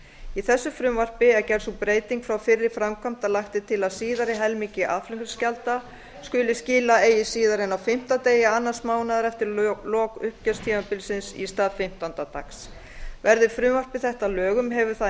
í þessu frumvarpi er gerð sú breyting frá fyrri framkvæmd að lagt er til að síðari helmingi aðflutningsgjalda skuli skila eigi síðar en á fimmta degi annars mánaðar eftir lok uppgjörstímabilsins í stað fimmtánda dags verði frumvarp þetta að lögum hefur það